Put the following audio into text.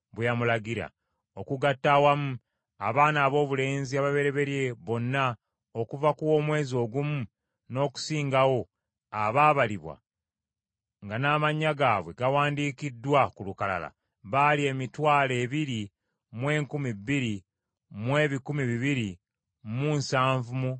Okugatta awamu abaana aboobulenzi ababereberye bonna okuva ku w’omwezi ogumu n’okusingawo abaabalibwa, nga n’amannya gaabwe gawandiikiddwa ku lukalala, baali emitwalo ebiri mu enkumi bbiri mu ebikumi bibiri mu nsanvu mu basatu.